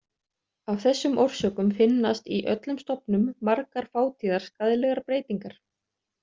Af þessum orsökum finnast í öllum stofnum margar fátíðar skaðlegar breytingar.